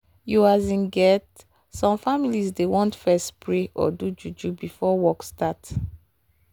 you asin get some families dey want fess pray or do juju before work start